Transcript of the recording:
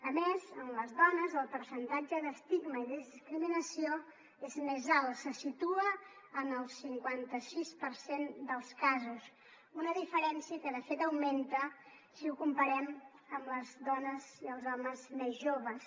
a més en les dones el percentatge d’estigma i de discriminació és més alt se situa en el cinquanta sis per cent dels casos una diferència que de fet augmenta si ho comparem amb les dones i els homes més joves